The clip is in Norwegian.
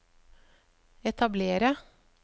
etablere